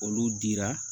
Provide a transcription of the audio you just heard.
Olu dira